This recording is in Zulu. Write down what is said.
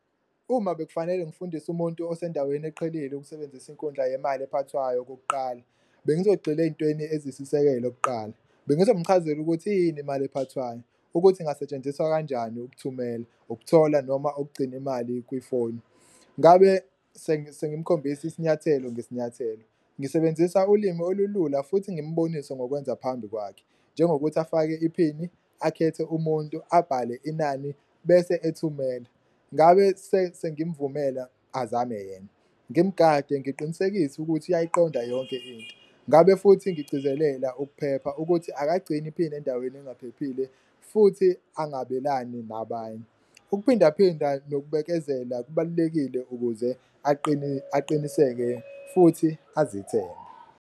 Uma bekufanele ngifundise umuntu osendaweni eqhelile ukusebenzisa inkundla yemali ephathwayo okokuqala, bengizogxila ey'ntweni ezisisekelo kuqala bengizomchazela ukuthi iyini imali ephathwayo, ukuthi ingasetshenziswa kanjani ukuthumela, ukuthola noma okugcina imali kwifoni. Ngabe sengimkhombisi isinyathelo ngesinyathelo ngisebenzisa ulimi olulula futhi ngimbonise ngokwenza phambi kwakhe, njengokuthi afake iphini, akhethe umuntu, abhale inani bese ethumela. Ngabe sengimvumela azame yena, ngimugade ngiqinisekise ukuthi uyayiqonda yonke into, ngabe futhi ngigcizelela ukuphepha ukuthi awukagcini iphini endaweni engaphi ephephile futhi angabelani nabanye. Ukuphindaphinda nokubekezela kubalulekile ukuze aqiniseke futhi azithembe.